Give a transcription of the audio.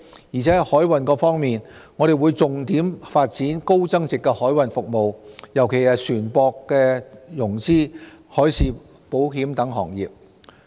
而在海運方面，我們會重點發展高增值海運服務，尤其是船舶融資、海事保險等行業。